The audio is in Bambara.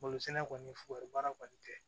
Malosɛnɛ kɔni foronbaara kɔni tɛ